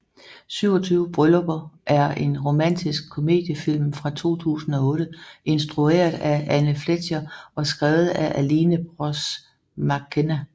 27 Bryllupper er en romantisk komediefilm fra 2008 instrueret af Anne Fletcher og skrevet af Aline Brosh McKenna